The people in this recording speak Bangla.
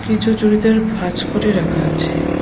কিছু চুড়িদার ভাঁজ করে রাখা আছে।